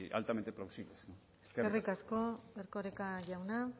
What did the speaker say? altamente plausibles eskerrik asko eskerrik asko erkoreka jauna